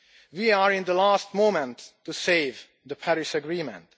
We are at the last moment to save the Paris agreement.